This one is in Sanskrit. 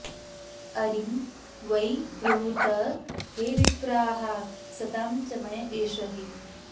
अरिं वै ब्रूत हे विप्राः सतां समय एष हि